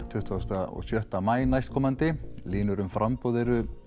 tuttugu og maí næstkomandi línur um framboð eru